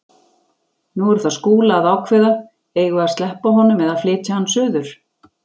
Nú er það Skúla að ákveða: Eigum við að sleppa honum eða flytja hann suður?